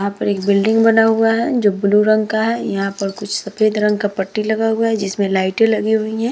यहाँ पर एक बिल्डिंग बना हुआ है जो ब्लू रंग का है यहाँ पे कुछ सफेद रंग का पट्टी लगा हुआ है जिसमे लाइटे लगी हुई है ।